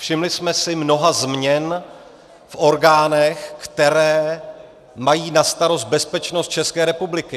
Všimli jsme si mnoha změn v orgánech, které mají na starost bezpečnost České republiky.